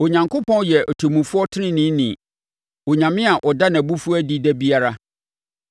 Onyankopɔn yɛ ɔtemmufoɔ teneneeni, Onyame a ɔda nʼabufuo adi da biara.